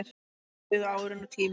Svo liðu árin og tíminn.